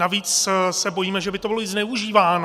Navíc se bojíme, že by to bylo i zneužíváno.